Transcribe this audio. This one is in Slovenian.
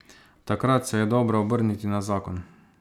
Takrat se je dobro obrniti na zakon.